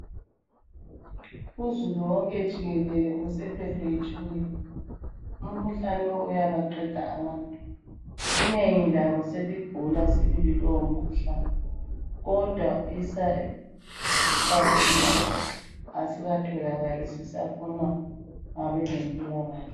Uzulu wonke jikelele usephethwe yitshukela, umkhuhlane uyabaqeda abantu. Inengi labo seligula sibili lowo mkhuhlane kodwa isixakululo asikatholakali zisafunwa ngabezempilakahle.